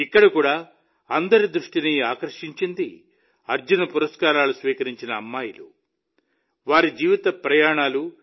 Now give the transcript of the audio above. ఇక్కడ కూడా అందరి దృష్టిని ఆకర్షించింది అర్జున పురస్కారాలు స్వీకరించిన అమ్మాయిలు వారి జీవిత ప్రయాణాలు